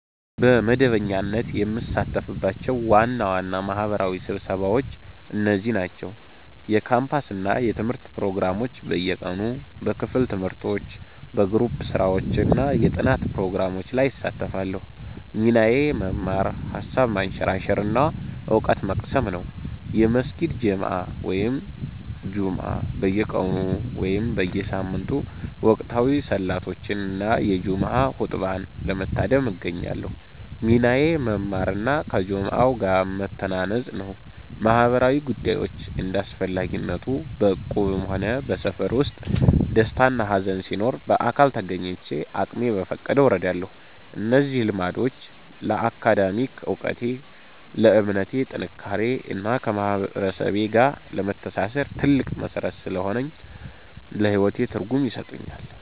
በመደበኛነት የምሳተፍባቸው ዋና ዋና ማህበራዊ ስብሰባዎች እነዚህ ናቸው፦ የካምፓስ እና የትምህርት ፕሮግራሞች (በየቀኑ)፦ በክፍል ትምህርቶች፣ በግሩፕ ስራዎች እና የጥናት ፕሮግራሞች ላይ እሳተፋለሁ። ሚናዬ መማር፣ ሃሳብ ማንሸራሸር እና እውቀት መቅሰም ነው። የመስጊድ ጀማዓ እና ጁምዓ (በየቀኑ/በየሳምንቱ)፦ ወቅታዊ ሰላቶችን እና የጁምዓ ኹጥባን ለመታደም እገኛለሁ። ሚናዬ መማር እና ከጀማዓው ጋር መተናነጽ ነው። ማህበራዊ ጉዳዮች (እንደ አስፈላጊነቱ)፦ በእቁብም ሆነ በሰፈር ውስጥ ደስታና ሃዘን ሲኖር በአካል ተገኝቼ አቅሜ በፈቀደው እረዳለሁ። እነዚህ ልምዶች ለአካዳሚክ እውቀቴ፣ ለእምነቴ ጥንካሬ እና ከማህበረሰቤ ጋር ለመተሳሰር ትልቅ መሠረት ስለሆኑኝ ለህይወቴ ትርጉም ይሰጡኛል።